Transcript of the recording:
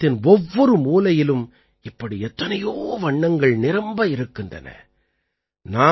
நமது தேசத்தின் ஒவ்வொரு மூலையிலும் இப்படி எத்தனையோ வண்ணங்கள் நிரம்ப இருக்கின்றன